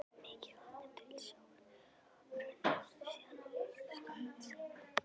Mikið vatn er til sjávar runnið síðan hún var stofnsett.